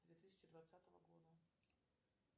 две тысячи двадцатого года